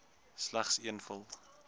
slegs een gevul